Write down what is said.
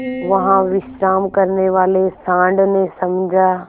वहाँ विश्राम करने वाले सॉँड़ ने समझा